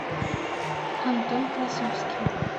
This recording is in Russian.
антон красовский